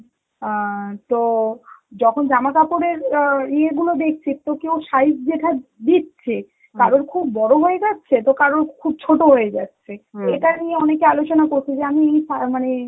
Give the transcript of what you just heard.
আঁ তো যখন জামাকাপড়ে আঁ ইয়ে গুলো দেখছি তো কেউ size যেটা দিচ্ছে, কারোর খুব বড় হয়ে যাচ্ছে তো কারোর খুব ছোট হয়ে যাচ্ছে, এটা নিয়ে অনেকে আলোচনা করছে যে আমি এই আঁ মানে